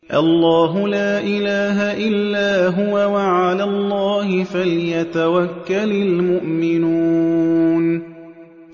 اللَّهُ لَا إِلَٰهَ إِلَّا هُوَ ۚ وَعَلَى اللَّهِ فَلْيَتَوَكَّلِ الْمُؤْمِنُونَ